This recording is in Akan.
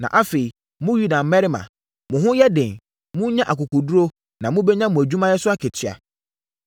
Na afei, mo Yuda mmarima, mo ho nyɛ den, monnya akokoɔduru, na mobɛnya mo adwumayɛ so akatua.”